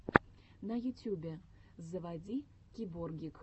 на ютюбе заводи киборгик